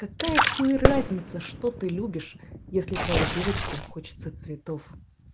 какая хуй разница что ты любишь если твоей девочке хочется цветов